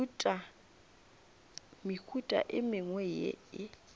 mehuta e mengwe ye e